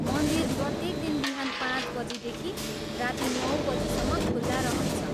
मन्दिर प्रत्येक दिन बिहान पाँच बजीदेखि राति नौ बजीसम्म खुला रहन्छ।